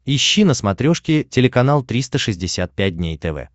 ищи на смотрешке телеканал триста шестьдесят пять дней тв